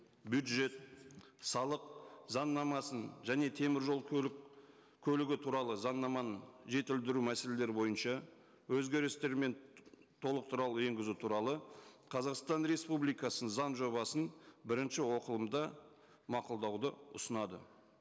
бюджет салық заңнамасын және теміржол көлігі туралы заңнаманы жетілдіру мәселелері бойынша өзгерістер мен енгізу туралы қазақстан республикасының заң жобасын бірінші оқылымда мақұлдауды ұсынады